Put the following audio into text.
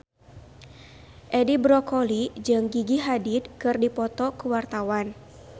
Edi Brokoli jeung Gigi Hadid keur dipoto ku wartawan